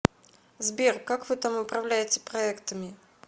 сбер как вы там управляете проектами